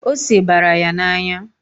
Ose bara ya n'anya.